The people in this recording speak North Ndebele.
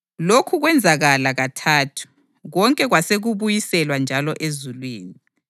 Lokhu kwenzakala kathathu, konke kwase kubuyiselwa njalo ezulwini.